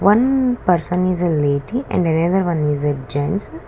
one person is a lady and another one is a gens.